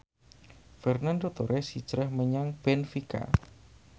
Fernando Torres hijrah menyang benfica